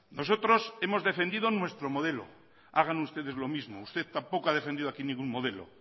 nosotros hemos defendido nuestro modelo hagan ustedes lo mismo usted tampoco ha defendido aquí ningún modelo